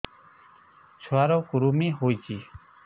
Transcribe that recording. ଛୁଆ ର କୁରୁମି ହୋଇଛି